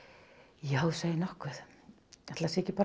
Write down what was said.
já þú segir nokkuð ætli það sé ekki bara